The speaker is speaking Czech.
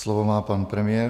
Slovo má pan premiér.